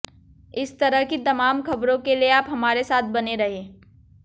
इस तरह की तमाम ख़बरों के लिए आप हमारे साथ बने रहें